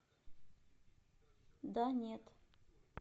да нет